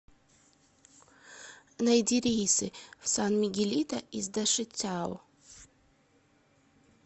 найди рейсы в сан мигелито из дашицяо